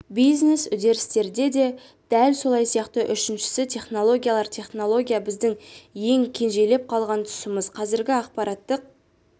бизнес үдерістерде де дәл сол сияқты үшіншісі технологиялар технология біздің ең кенжелеп қалған тұсымыз қазіргі ақпараттық